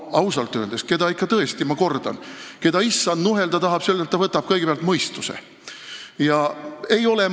Ma kordan, et sellelt, keda Issand nuhelda tahab, võtab ta kõigepealt tõesti mõistuse.